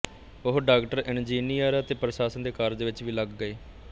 ਉਹ doctor engineer ਅਤੇ ਪ੍ਰਸ਼ਾਸਨ ਦੇ ਕਾਰਜ ਵਿੱਚ ਵੀ ਲੱਗ ਗਏ